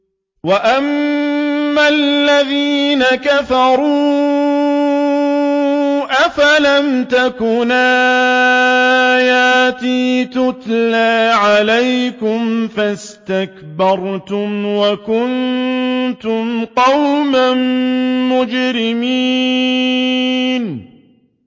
وَأَمَّا الَّذِينَ كَفَرُوا أَفَلَمْ تَكُنْ آيَاتِي تُتْلَىٰ عَلَيْكُمْ فَاسْتَكْبَرْتُمْ وَكُنتُمْ قَوْمًا مُّجْرِمِينَ